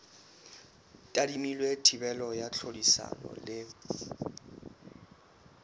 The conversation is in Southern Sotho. tadimilwe thibelo ya tlhodisano le